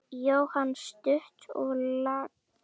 Jóhann: Stutt og laggott?